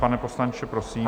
Pane poslanče, prosím.